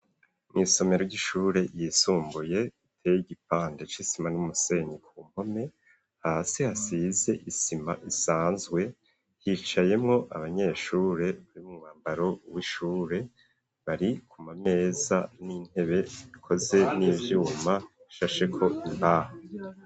Mw'isomero ry'ishure yisumbuye iteye igipande c'isima n'umusenyi ku mpome hasi hasize isima isanzwe hicayemwo abanyeshure bari mu mwambaro w'ishure bari kumameza n'intebe ikoze n'vyuma bishasheko imbaho.